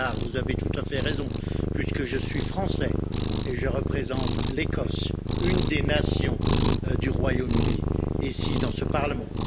Allard, vous avez tout à fait raison puisque je suis français et que je représente l'Écosse, l'une des nations du Royaume Uni, ici dans ce Parlement.